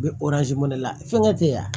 U bɛ la fɛnkɛ te yen a